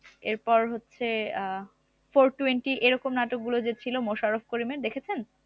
এরপর হচ্ছে আহ four twenty এরকম নাটকগুলো যে ছিল মোশারফ করিম এর দেখেছেন?